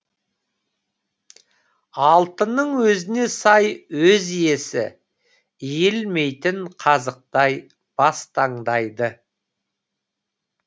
алтынның өзіне сай өз иесі иілмейтін қазықтай бас таңдайды